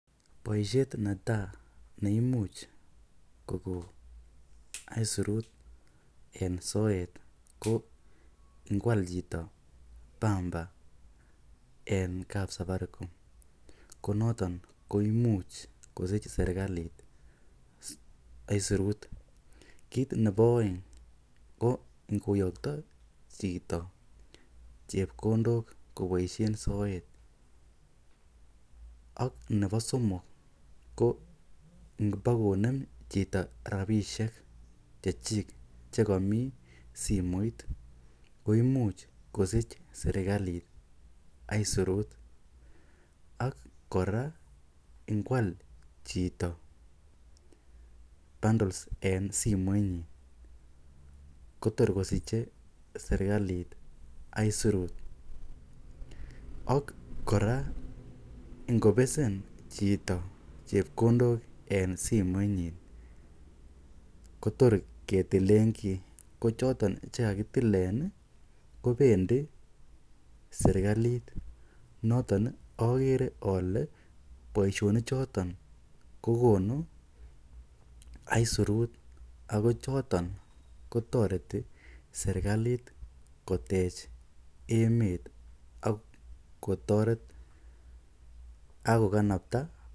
Boishet netaa neimuch koko aisurut en soet ko ngwal chito pamba en kab Safaricom, konoton koimuch kosich sirikalit aisurutik, ko ngoyokto chito chekondok koboishen soet ak nebo somok ko ngobokonem chito rabishek chechik chekomii smoit koimuch kosich serikalit aisirut, ak kora ngwal chito bundles en simoinyin kotor kosiche serikalit aisirut ak kora ingobesen chito chepkondok en simoinyin kotor ketilen kii, ko choton chekakitilen kobendi serikalit, noton okere olee boishoni choton kokonu aisirut ak ko choton kotoreti serikalit kotoret emet ak kotoret ak kokanabta.